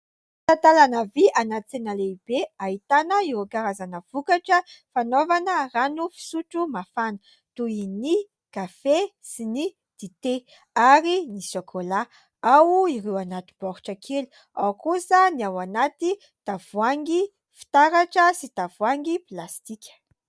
Talatalana vy any an-tsena lehibe. Ahitana ireo karazana vokatra fanaovana rano fisotro mafana toy ny kafe sy ny dite ary ny sokola. Ao ireo anaty boritra kely. Ao kosa ny ao anaty tavoangy fitaratra sy tavoangy plastika.